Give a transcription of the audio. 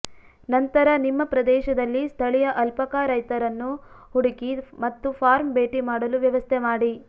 ನಂತರ ನಿಮ್ಮ ಪ್ರದೇಶದಲ್ಲಿ ಸ್ಥಳೀಯ ಅಲ್ಪಾಕಾ ರೈತರನ್ನು ಹುಡುಕಿ ಮತ್ತು ಫಾರ್ಮ್ ಭೇಟಿ ಮಾಡಲು ವ್ಯವಸ್ಥೆ ಮಾಡಿ